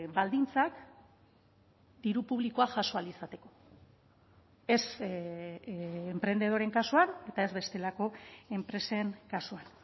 baldintzak diru publikoa jaso ahal izateko ez enprendedoreen kasuan eta ez bestelako enpresen kasuan